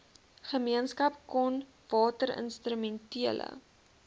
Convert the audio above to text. gemeenskap kom watinstrumentele